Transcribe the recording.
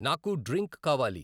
నాకు డ్రింక్ కావాలి